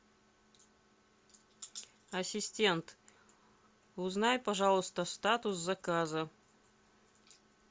ассистент узнай пожалуйста статус заказа